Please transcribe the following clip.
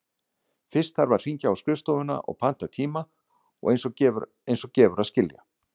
Fyrst þarf að hringja á skrifstofuna og panta tíma, eins og gefur að skilja.